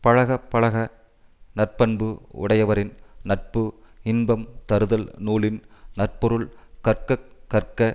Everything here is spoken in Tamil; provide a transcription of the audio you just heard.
பழகப் பழக நற்பண்பு உடையவரின் நட்பு இன்பம் தருதல் நூலின் நற்பொருள் கற்கக் கற்க